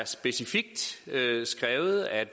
specifikt er skrevet at